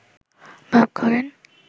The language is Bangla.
ভাব করেন